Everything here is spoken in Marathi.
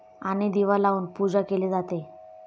आणि दिवा लावून पूजा केली जाते.